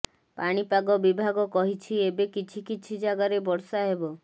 ପାଣିପାଗ ବିଭାଗ କହିଛି ଏବେ କିଛି କିଛି ଜାଗାରେ ବର୍ଷା ହେବ